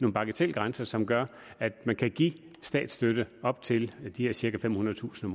en bagatelgrænse som gør at man kan give statsstøtte på op til de her cirka femhundredetusind